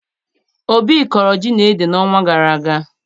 Obi kọrọ ji na ede n'ọnwa gara aga